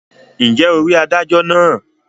ǹjẹ́ o rí adájọ náà?